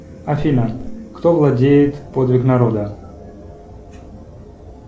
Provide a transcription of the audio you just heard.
афина кто владеет подвиг народа